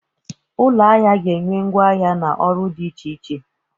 Ụlọ ahịa ga-enye ngwa ahịa na ọrụ dị iche iche.